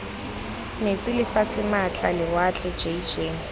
metsi lefatshe maatla lewatle jj